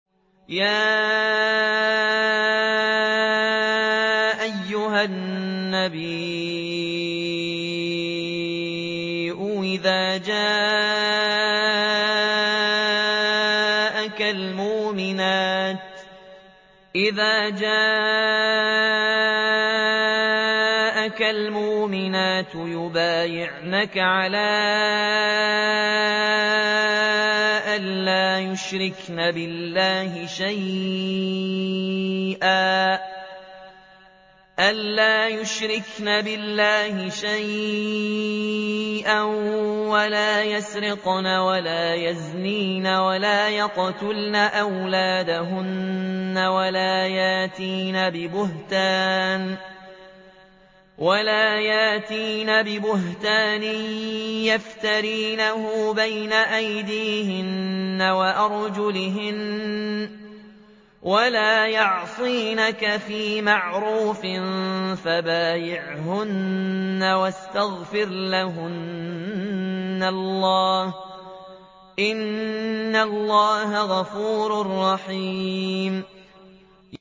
يَا أَيُّهَا النَّبِيُّ إِذَا جَاءَكَ الْمُؤْمِنَاتُ يُبَايِعْنَكَ عَلَىٰ أَن لَّا يُشْرِكْنَ بِاللَّهِ شَيْئًا وَلَا يَسْرِقْنَ وَلَا يَزْنِينَ وَلَا يَقْتُلْنَ أَوْلَادَهُنَّ وَلَا يَأْتِينَ بِبُهْتَانٍ يَفْتَرِينَهُ بَيْنَ أَيْدِيهِنَّ وَأَرْجُلِهِنَّ وَلَا يَعْصِينَكَ فِي مَعْرُوفٍ ۙ فَبَايِعْهُنَّ وَاسْتَغْفِرْ لَهُنَّ اللَّهَ ۖ إِنَّ اللَّهَ غَفُورٌ رَّحِيمٌ